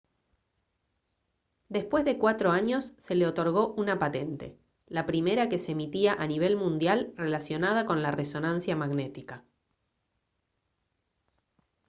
después de cuatro años se le otorgó una patente la primera que se emitía a nivel mundial relacionada con la resonancia magnética